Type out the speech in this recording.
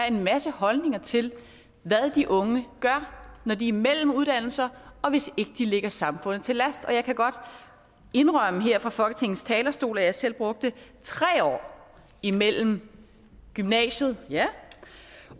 en masse holdninger til hvad de unge gør når de er imellem uddannelser hvis de ikke ligger samfundet til last jeg kan godt indrømme her fra folketingets talerstol at jeg selv brugte tre år imellem gymnasiet